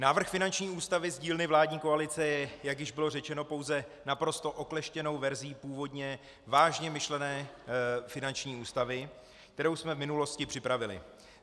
Návrh finanční ústavy z dílny vládní koalice je, jak již bylo řečeno, pouze naprosto okleštěnou verzí původně vážně myšlené finanční ústavy, kterou jsme v minulosti připravili.